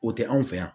O tɛ an fɛ yan